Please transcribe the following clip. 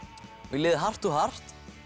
í liði